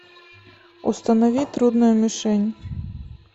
установи трудная мишень